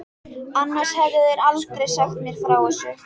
Annars hefðu þeir aldrei sagt mér frá þessu.